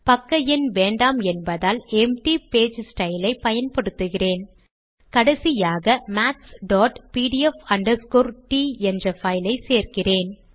பக்க எண் வேண்டாம் என்பதால் எம்ப்டி பேஜஸ்டைல் ஐ பயன்படுத்துகிறேன் கடைசியாக mathspdf t என்ற பைல் ஐச் சேர்க்கிறேன்